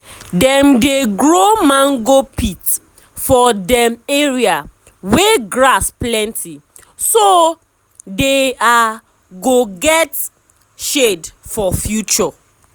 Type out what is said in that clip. dem dey grow mango pit for dem area wey grass plenty so de are go get shade for future.